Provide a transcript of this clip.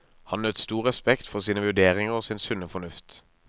Han nøt stor respekt for sine vurderinger og sin sunne fornuft.